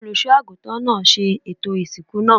Olùṣọ́ àgùntàn náà ṣe ètò ìsìnkú náà.